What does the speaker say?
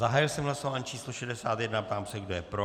Zahájil jsem hlasování číslo 61 a ptám se, kdo je pro.